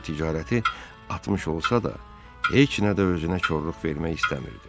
Qoryo ticarəti atmış olsa da, heç nə də özünə korluq vermək istəmirdi.